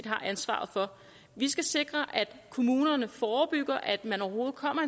har ansvaret for vi skal sikre at kommunerne forebygger at man overhovedet kommer